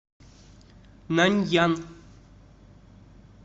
наньян